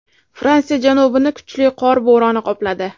Fransiya janubini kuchli qor bo‘roni qopladi.